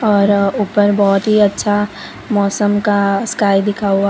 और ऊपर बहुत ही अच्छा मौसम का स्काई दिखा हुआ --